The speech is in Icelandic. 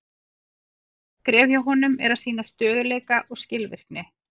Næsta skrefið hjá honum er að sýna stöðugleika og skilvirkni.